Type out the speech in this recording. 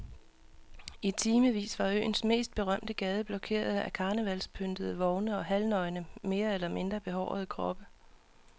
I timevis var øens mest berømte gade blokeret af karnevalspyntede vogne og halvnøgne mere eller mindre behårede kroppe.